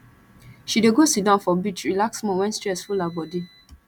she dey go sidon for beach relax small wen stress full her bodi